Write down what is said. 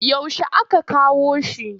Yaushe aka kawo shi?